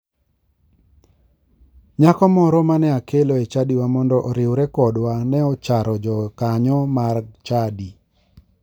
Nyako moro mane akelo e chadiwa mondo oriwre kodwa ne ocharo jokanyo mag chadi.